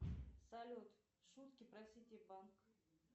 салют шутки про сити банк